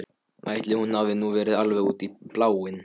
Ætli hún hafi nú verið alveg út í bláinn.